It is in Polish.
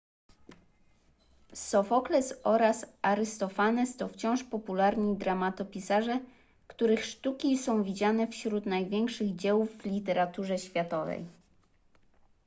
sofokles oraz arystofanes to wciąż popularni dramatopisarze których sztuki są widziane wśród największych dzieł w literaturze światowej